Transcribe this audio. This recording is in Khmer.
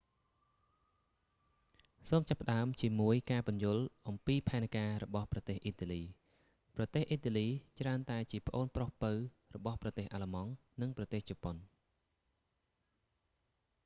សូមចាប់ផ្តើមជាមួយការពន្យល់អំពីផែនការរបស់ប្រទេសអ៊ីតាលី ប្រទេសអ៊ីតាលីច្រើនតែជាប្អូនប្រុសពៅរបស់ប្រទេសអាល្លឺម៉ង់ និងប្រទេសជប៉ុន